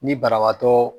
Ni banabaatɔ